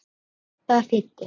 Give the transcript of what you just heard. Og hvað það þýddi.